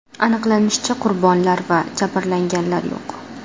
Aniqlanishicha, qurbonlar va jabrlanganlar yo‘q.